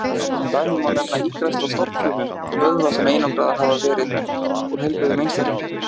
Sem dæmi má nefna ígræðslu á stofnfrumum vöðva sem einangraðar hafa verið úr heilbrigðum einstaklingum.